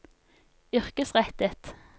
yrkesrettet